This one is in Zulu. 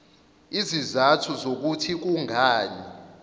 izizathu zokuthi kungani